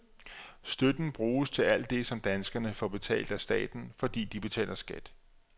Støtten bruges til alt det, som danskerne får betalt af staten, fordi de betaler skat.